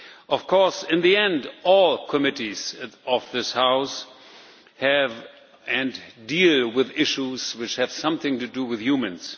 Of course, in the end, all committees of this House have dealt and deal with issues which have something to do with humans.